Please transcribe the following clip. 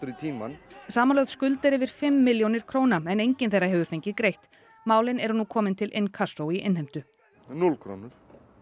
í tímann samanlögð skuld er yfir fimm milljónir króna en enginn þeirra hefur fengið greitt málin eru nú komin til Inkasso í innheimtu núll krónur